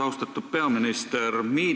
Austatud peaminister!